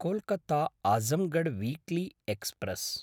कोल्कत्ता–आजमगढ़ weekly express